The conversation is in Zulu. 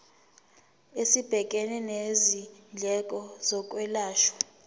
esibhekene nezindleko zokwelashwa